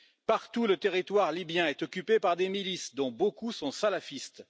Partout, le territoire libyen est occupé par des milices, dont beaucoup sont salafistes.